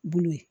Bolo ye